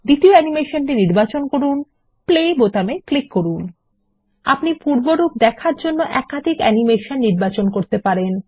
দ্বিতীয় অ্যানিমেশন নির্বাচন করুন প্লে বোতামে ক্লিক করুন বিরতি আপনি পূর্বরূপ দেখার জন্য একাধিক অ্যানিমেশন নির্বাচন করতে পারেন